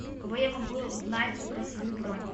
у кого я могу узнать про свою бронь